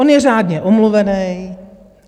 On je řádně omluvený.